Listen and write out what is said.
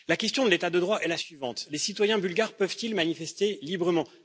La question de l'état de droit est la suivante les citoyens bulgares peuvent ils manifester librement?